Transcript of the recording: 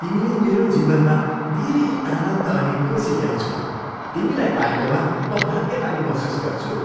तिमीले मेरो जीवनमा धेरै आनन्द अनि खुसी ल्याउँछौ। तिमीलाई पाएकोमा म भाग्यमानी महसुस गर्छु।